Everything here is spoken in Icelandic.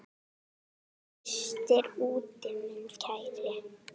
Frystir úti minn kæri.